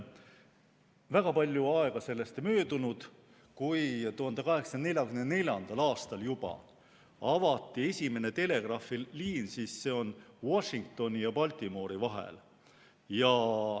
Väga palju aega sellest ei möödunudki, kui juba 1844. aastal avati esimene telegraafiliin Washingtoni ja Baltimore'i vahel.